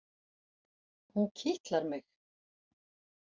Hún kitlar mig!